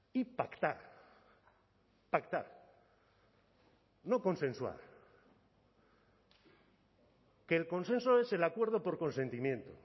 y pactar pactar no consensuar que el consenso es el acuerdo por consentimiento